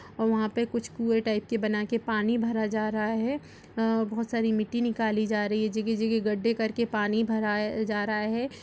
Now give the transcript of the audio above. और वहाँ पे कुछ कुए टाइप के बनाके पानी भरा जा रहा है | अ बहुत सारी मिट्टी निकाली जा रही है जगह जगह गड्ढे करके पानी भरा जा रहा है।